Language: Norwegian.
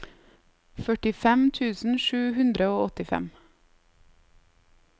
førtifem tusen sju hundre og åttifem